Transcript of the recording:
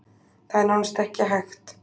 Það er nánast ekki hægt.